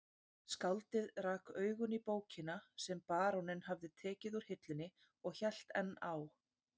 Skáldið rak augun í bókina sem baróninn hafði tekið úr hillunni og hélt enn á